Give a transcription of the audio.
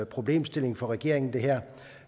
problemstilling for regeringen